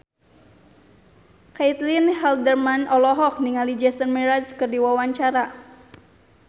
Caitlin Halderman olohok ningali Jason Mraz keur diwawancara